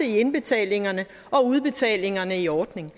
indbetalinger og udbetalinger i ordningen